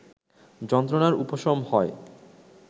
যন্ত্রণার উপশম হয়